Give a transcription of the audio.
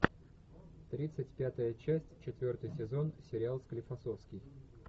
тридцать пятая часть четвертый сезон сериал склифосовский